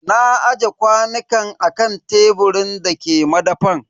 Na aje kwanukan a kan teburin da ke madafan.